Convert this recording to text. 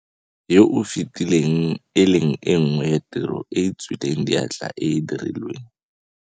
Yo o fetileng, e leng e nngwe ya tiro e e tswileng diatla e e dirilweng.